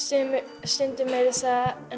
stundum meira að segja